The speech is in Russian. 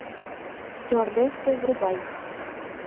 стюардессы врубай